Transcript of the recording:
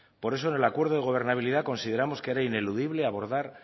por eso en el acuerdo de gobernabilidad considerábamos que era ineludible abordar